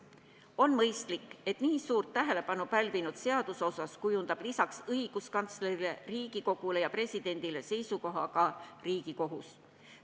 On mõistlik, et nii suurt tähelepanu pälvinud seaduse osas kujundab lisaks õiguskantslerile, Riigikogule ja presidendile seisukoha ka Riigikohus.